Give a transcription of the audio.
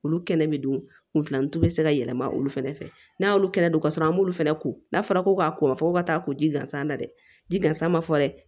Olu kɛnɛ bɛ don kunfilanci bɛ se ka yɛlɛma olu fana fɛ n'a y'olu kɛnɛ don ka sɔrɔ an b'olu fana ko n'a fɔra ko k'a ko fɔ ka taa ko ji gansan na dɛ ji gansan ma fɔ dɛ